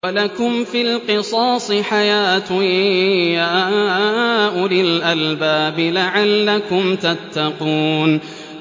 وَلَكُمْ فِي الْقِصَاصِ حَيَاةٌ يَا أُولِي الْأَلْبَابِ لَعَلَّكُمْ تَتَّقُونَ